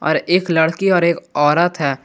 और एक लड़की और एक औरत है।